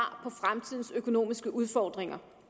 på fremtidens økonomiske udfordringer